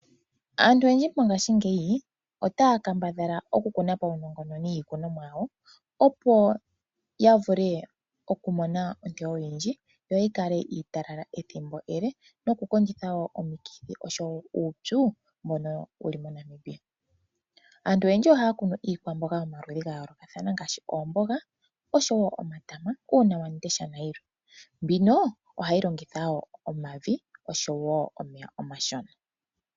Aantu oyendji mongashingeyi otaya kambadhala okukuna paunongononi iikunomwa yawo opo yavule okumona iiteyomwa oyindji yi kale iitalala ethimbo ele noku kondjitha woo oshowo uupyu mbonowu li moNamibia. Aantu oyendji oha ya kunu iikwamboga yomaludhi ga yoolokathana ngaashi oomboga oshowo omatama ,uuna wamundesha na yilwe. Mbino ohayi longithwa woo omavi oshowo omeya omashona.